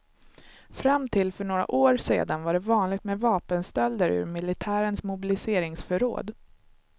Fram till för några år sedan var det vanligt med vapenstölder ur militärens mobiliseringsförråd.